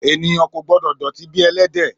Èniyán kò gbõdò dòtí bí èlédè